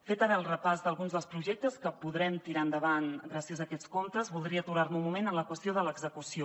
fet ara el repàs d’alguns dels projectes que podrem tirar endavant gràcies a aquests comptes voldria aturar me un moment en la qüestió de l’execució